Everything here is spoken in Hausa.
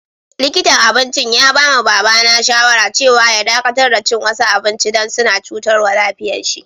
Likintan abincin ya ba ma baba na shawara cewa ya dakatar da cin wasu abinci dan suna cutarwa lafiyan si.